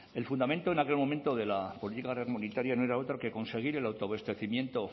el fundamento en aquel momento de la política comunitaria no era otro que conseguir el autoabastecimiento